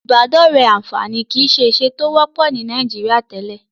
Ìbádọ́rẹ̀ẹ́ àǹfààní kìí ṣe ìṣe tó wọ́pọ̀ ní Nàìjíríà tẹ́lẹ̀.